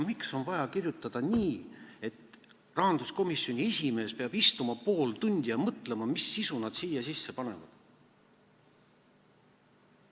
Miks on vaja kirjutada nii, et rahanduskomisjoni esimees peab istuma pool tundi ja mõtlema, mis sisu nad siia sisse panevad?